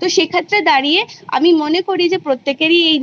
তো সেক্ষেত্রে দাঁড়িয়ে আমির মনে করি যে প্রত্যেকেরই এই